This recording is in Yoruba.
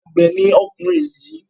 Àgbẹ̀ ni ọkùnrin yìí.